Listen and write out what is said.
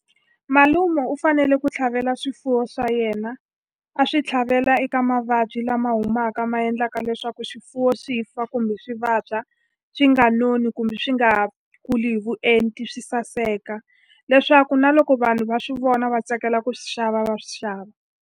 Malume u fanele ku tlhavela swifuwo swa yena, a swi tlhavela eka mavabyi lama humaka ma endlaka leswaku swifuwo swi fa kumbe swi vabya, swi nga noni kumbe swi nga kuli hi vuenti swi saseka. Leswaku na loko vanhu va swi vona va tsakela ku swi xava, va swi xava.